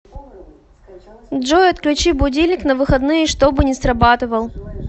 джой отключи будильник на выходные чтобы не срабатывал